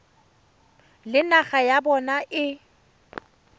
le naga ya bona e